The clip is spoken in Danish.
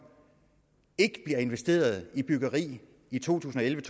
ikke bliver investeret i byggeri i to tusind og elleve